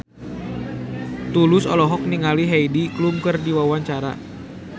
Tulus olohok ningali Heidi Klum keur diwawancara